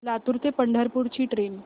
लातूर ते पंढरपूर ची ट्रेन